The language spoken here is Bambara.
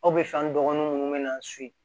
Aw bɛ fɛn dɔgɔnin minnu bɛ na so yen